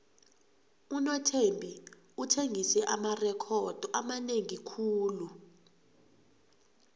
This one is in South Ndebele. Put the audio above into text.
unothembi uthengise amarekhodo amanengi khulu